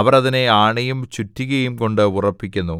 അവർ അതിനെ ആണിയും ചുറ്റികയുംകൊണ്ട് ഉറപ്പിക്കുന്നു